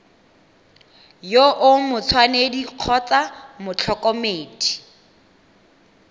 yo o matshwanedi kgotsa motlhokomedi